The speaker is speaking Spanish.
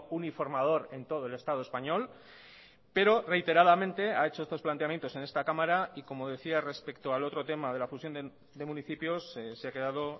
uniformador en todo el estado español pero reiteradamente ha hecho estos planteamientos en esta cámara y como decía respecto al otro tema de la fusión de municipios se ha quedado